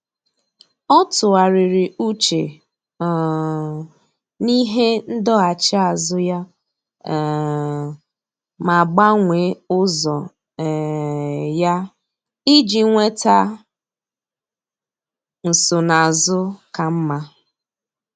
Ọ́ tụ́ghàrị̀rị̀ úchè um n’íhé ndọghachi azụ ya um ma gbanwee ụ́zọ́ um ya iji nwéta nsonaazụ ka mma.